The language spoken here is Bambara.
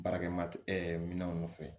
Baarakɛ ma minɛnw fɛ